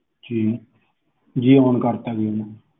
ਜੀ ਜੀ on ਕਰਤਾ ਜੀ